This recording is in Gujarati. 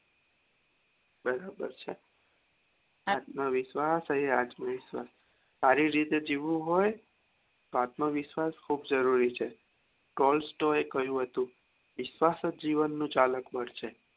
બરાબર છે આત્મવિશ્વાસઆત્મવિશ્વાસએ આજ નો હારી રીતે જીવવું હોય તો આત્મવિશ્વાસ ખુબ જરૂરી છે એ કીધું હતું વિશ્વાસ જ જીવન નું છે